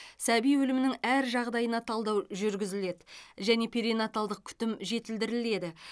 сәби өлімінің әр жағдайына талдау жүргізіледі және перинаталдық күтім жетілдіріледі